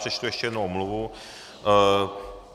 Přečtu ještě jednu omluvu.